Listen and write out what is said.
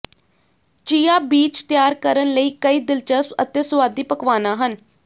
chia ਬੀਜ ਤਿਆਰ ਕਰਨ ਲਈ ਕਈ ਦਿਲਚਸਪ ਅਤੇ ਸੁਆਦੀ ਪਕਵਾਨਾ ਹਨ